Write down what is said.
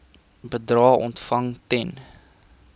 bedrae ontvang ten